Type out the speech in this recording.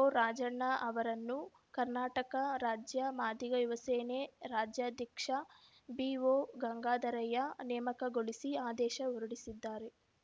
ಓರಾಜಣ್ಣ ಅವರನ್ನು ಕರ್ನಾಟಕ ರಾಜ್ಯ ಮಾದಿಗ ಯುವ ಸೇನೆ ರಾಜ್ಯಾಧ್ಯಕ್ಷ ಬಿಓ ಗಂಗಾಧರಯ್ಯ ನೇಮಕಗೊಳಿಸಿ ಆದೇಶ ಹೊರಡಿಸಿದ್ದಾರೆ